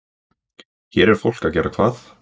Hér er fólk að gera hvað?